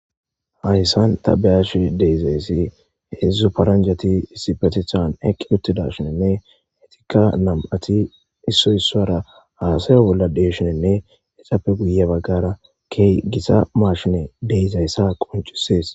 Haysan ta beyashe de'izayessi hedzdzu paranjati issipetethan eqi utidashnne ika nam'ati issoy isuwra hasaya bolla de'ishninne hesappe guye bagara key giza mashiney de'izaysa qoncises